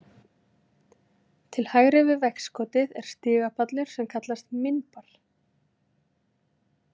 Til hægri við veggskotið er stigapallur sem kallast „minbar“.